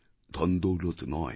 ধনদৌলত নয়